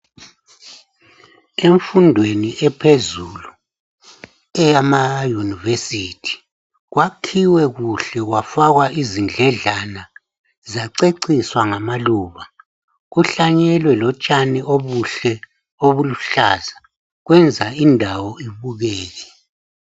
Emfundweni ephezulu eyama "University" kwakhiwe kuhle kwafakwa izindledlana, zaceciswa ngamaluba, kuhlanyelwe lotshani obuhle obuluhlaza kwenza indawo ibukeke.